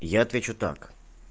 я отвечу так